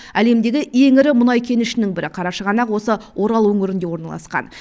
әлемдегі ең ірі мұнай кенішінің бірі қарашығанақ осы орал өңірінде орналасқан